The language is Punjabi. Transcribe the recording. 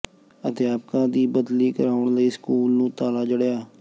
ਅਧਿਆਪਕਾ ਦੀ ਬਦਲੀ ਕਰਾਉਣ ਲਈ ਸਕੂਲ ਨੂੰ ਤਾਲਾ ਜਡ਼ਿਆ